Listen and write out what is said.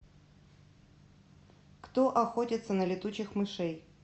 кто охотится на летучих мышей